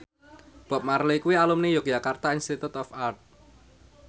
Bob Marley kuwi alumni Yogyakarta Institute of Art